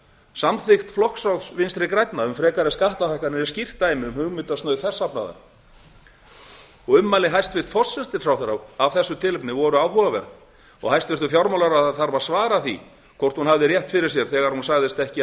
samþykkt flokksráðs vinstri grænna um frekari skattahækkanir er skýrt dæmi um hugmyndasnauð þess safnaðar ummæli hæstvirts forsætisráðherra af þessu tilefni voru áhugaverð og hæstvirtur fjármálaráðherra þarf að svara því hvort hún hafði rétt fyrir sér þegar hún sagðist ekki